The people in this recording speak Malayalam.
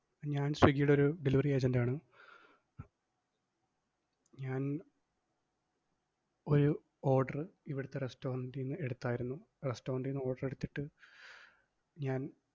ഞാൻ സ്വിഗ്ഗിടെ ഒരു delivery agent ആണ് ഞാൻ ഒരു order ഇവിടുത്തെ restaurant ന്ന് എടുത്തായിരുന്നു. restaurant ന്ന് order എടുത്തിട്ട് ഞാൻ